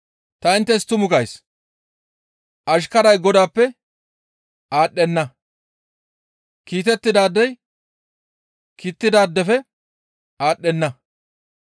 Ta inttes tumu gays; ashkaray godaappe aadhdhenna; kiitettidaadey kiittidaadefe aadhdhenna.